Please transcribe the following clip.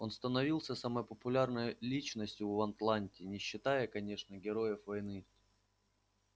он становился самой популярной личностью в атланте не считая конечно героев войны